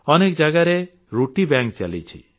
ଅନେକ ଜାଗାରେ ରୁଟି ବ୍ୟାଙ୍କ ଚାଲିଛି